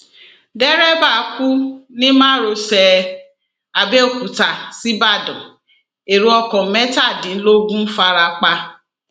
derébà kú ní márosẹ àbẹòkúta ṣíbàdàn ẹrọ ọkọ mẹtàdínlógún farapa